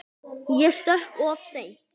Ég stökk of seint.